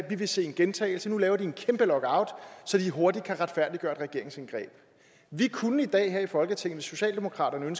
vi vil se en gentagelse nu laver en kæmpe lockout så de hurtigt kan retfærdiggøre et regeringsindgreb vi kunne i dag her i folketinget hvis socialdemokratiet og